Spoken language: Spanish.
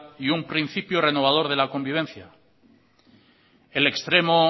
y un principio renovador de la convivencia el extremo